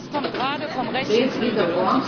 Das kommt gerade vom rechten Flügel!